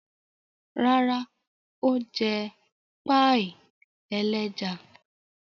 Rárá, ó jẹ páíì ẹlẹ́ja.